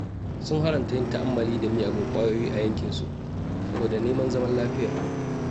Sun haramta yin ta'ammali da miyagun ƙwayoyi a yankinsu saboda neman zaman lafiya.